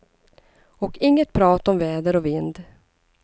Och inget prat om väder och vind.